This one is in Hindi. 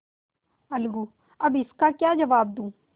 अलगूअब इसका क्या जवाब दूँ